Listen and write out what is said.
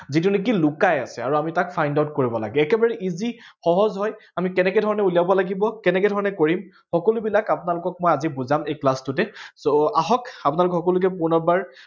যিটো নেকি লুকাই আছে আৰু আমি তাক find out কৰিব লাগে একেবাৰে easy সহজ হয়। আমি কেনেকে ধৰণে উলিয়াব লাগিব কেনেকে ধৰণে কৰিম, সকলো বিলাক আপোনালোকক আজি বুজাম এই class টোতে। so আহক আপোনালোক সকলোকে পুনৰ বাৰ